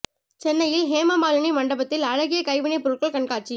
சென்னையில் ஹேமமாலினி மண்டபத்தில் அழகிய கைவினை பொருட்கள் கண்காட்சி